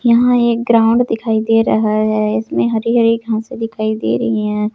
यहां एक ग्राउंड दिखाई दे रहा है इसमें हरी-हरी घासे दिखाई दे रही है।